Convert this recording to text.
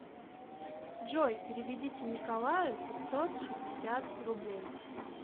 джой переведите николаю пятьсот шестьдесят рублей